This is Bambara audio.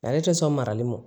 Ale tɛ sɔn marali ma